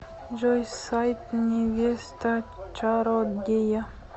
джой сайт невеста чародея